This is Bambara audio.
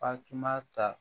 Fatumata